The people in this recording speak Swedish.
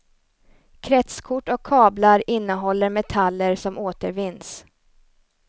Kretskort och kablar innehåller metaller som återvinns.